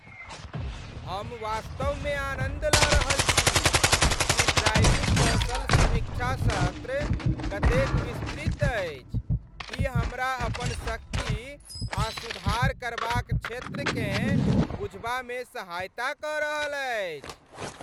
हम वास्तवमे आनन्द लऽ रहल छी कि ड्राइविंग कौशल समीक्षा सत्र कतेक विस्तृत अछि, ई हमरा अपन शक्ति आ सुधार करबाक क्षेत्रकेँ बुझबामे सहायता कऽ रहल अछि।